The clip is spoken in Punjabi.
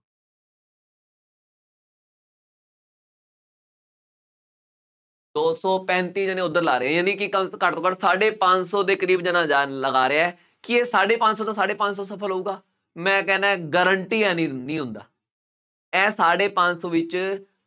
ਦੋਸਤੋ ਪੈਂਤੀ ਜਣੇ ਉੱਧਰ ਲਾ ਰਹੇ ਆ, ਯਾਨੀ ਕਿ ਕੱਲ੍ਹ ਤੋਂ ਘੱਟ ਤੋਂ ਘੱਟ ਸਾਢੇ ਪੰਜ ਸੌ ਦੇ ਕਰੀਬ ਜਣਾ ਜਨ ਲਗਾ ਰਿਹਾ ਹੈ, ਕੀ ਇਹ ਸਾਢੇ ਪੰਜ ਸੌ ਤੋਂ ਸ਼ਾਢੇ ਪੰਜ ਸੌ ਸਫਲ ਹੋਊਗਾ, ਮੈਂ ਕਹਿੰਦਾ guarantee ਹੈ ਨਹੀਂ, ਨਹੀਂ ਹੁੰਦਾ, ਇਹ ਸਾਢੇ ਪੰਜ ਸੌ ਵਿੱਚ